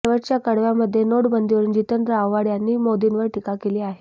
तर शेवटच्या कडव्यामध्ये नोटबंदीवरुन जितेंद्र आव्हाड यांनी मोदींवर टीका केली आहे